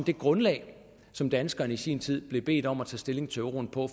det grundlag som danskerne i sin tid blev bedt om at tage stilling til euroen på